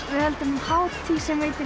við höldum hátíð sem heitir